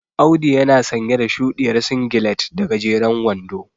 Audu yana sanye da shuɗiyar singilet da gajeren wando.